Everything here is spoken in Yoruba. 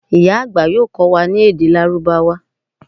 ìyá àgbà yoo kó̩ wa ni èdè lárúbáwá